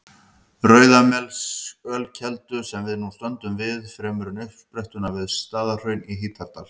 Rauðamelsölkeldu, sem við nú stöndum við, fremur en uppsprettuna við Staðarhraun í Hítardal.